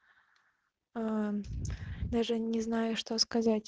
а даже не знаю что сказать